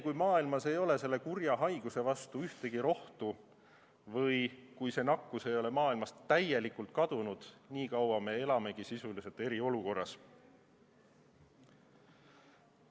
Kuni maailmas ei ole selle kurja haiguse vastu ühtegi rohtu või kuni see nakkus ei ole maailmast täielikult kadunud, nii kaua me elamegi sisuliselt eriolukorras.